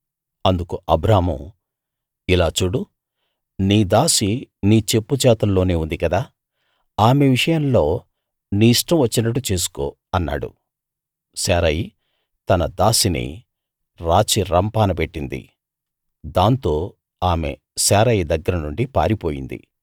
అందుకు అబ్రాము ఇలా చూడు నీ దాసి నీ చెప్పుచేతల్లోనే ఉంది గదా ఆమె విషయంలో నీ ఇష్టం వచ్చినట్టు చేసుకో అన్నాడు శారయి తన దాసిని రాచి రంపాన పెట్టింది దాంతో ఆమె శారయి దగ్గర నుండి పారిపోయింది